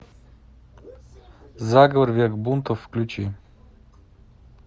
заговор век бунтов включи